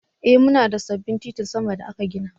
Ee muna da sabbin titin sama da aka gina.